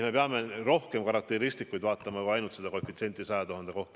Me peame rohkem karakteristikuid vaatama, mitte ainult seda koefitsienti 100 000 kohta.